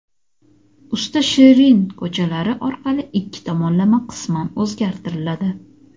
Usta Shirin ko‘chalari orqali ikki tomonlama qisman o‘zgartiriladi;.